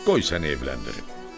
Qoy səni evləndirim.